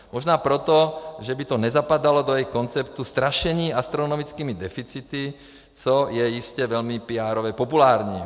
Možná proto, že by to nezapadalo do jejich konceptu strašení astronomickými deficity, což je jistě velmi píárově populární.